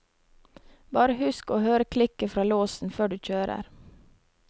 Bare husk å høre klikket fra låsen før du kjører.